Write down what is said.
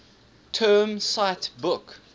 term cite book